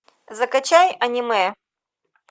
закачай аниме